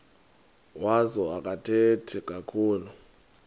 wazo akathethi kakhulu